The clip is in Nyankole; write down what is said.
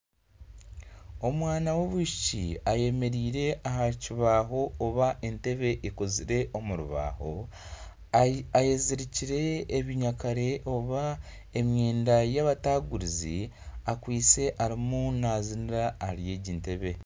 Omwana w'omwishiki ayemereire aha kibaho oba ente ekozire omu rubaho ayezirikire obunyakare oba emyenda yabatagurizi akwaitse arimu naziniira ahari egi ntebe